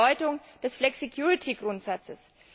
die Bedeutung des Flexicurity Grundsatzes.